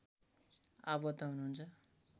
आबद्ध हुनुहुन्छ